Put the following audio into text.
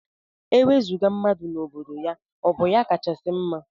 Iwezuga mmadụ n' obodo ya ọbụ ya kachasi mma?